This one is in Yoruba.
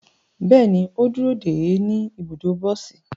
Bẹẹni, o duro de e ni ibudo bosi